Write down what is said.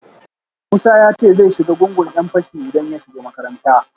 Musa ya ce zai shiga gungun ‘yan fashi idan ya shiga makaranta